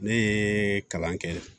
Ne ye kalan kɛ